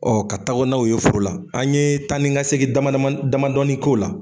ka tago na o ye foro la. An ye taa ni ŋa segin damadama n damadɔɔni k'o la.